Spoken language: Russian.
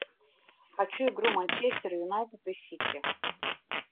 хочу игру манчестер юнайтед и сити